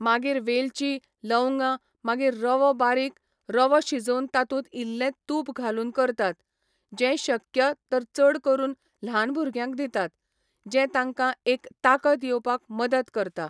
मागीर वेलची, लवंगां, मागीर रवो बारीक रवो शिजोवन तातूंत इल्लें तूप घालून करतात, जें शक्य तर चड करून ल्हान भुरग्यांक दितात, जें तांकां एक ताकत येवपाक मदत करता.